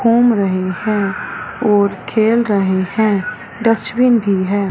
घूम रहे हैं और खेल रहे हैं डस्टबिन भी है।